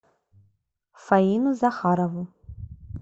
фаину захарову